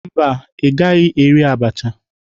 Mba, ị gaghị eri abacha